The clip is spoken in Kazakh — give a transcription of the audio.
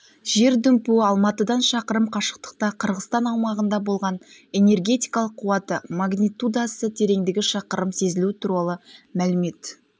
жер дүмпуі алматыдан шақырым қашықтықта қырғызстан аумағында болған энергетикалық қуаты магнитудасы тереңдігі шақырым сезілуі туралы мәлімет